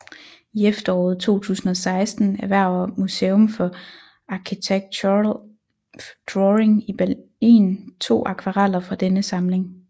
I efteråret 2016 erhverver Museum for Architectural Drawing i Berlin to akvareller fra denne samling